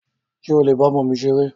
Ṣé o lè ba ọmọ mi ṣeré?